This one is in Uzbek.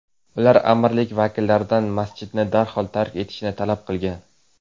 Ular amirlik vakillaridan masjidni darhol tark etishni talab qilgan.